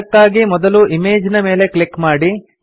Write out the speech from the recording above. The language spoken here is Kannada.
ಅದಕ್ಕಾಗಿ ಮೊದಲು ಇಮೇಜ್ ನ ಮೇಲೆ ಕ್ಲಿಕ್ ಮಾಡಿ